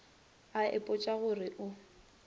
a ipotša go re o